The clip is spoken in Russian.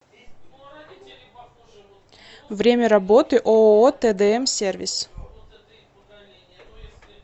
время работы ооо тдм сервис